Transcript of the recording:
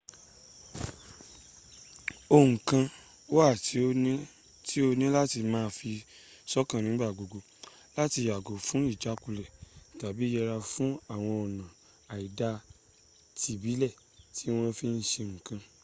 ohùn kan wà tí o ní láti má a fi sọ́kàn nígbàgbogbo láti yàgò fún ìjákulẹ̀ tàbí yẹra fún àwọn ọ̀nà àìda tìbílẹ̀ ti wọ́n fi ń se nǹkan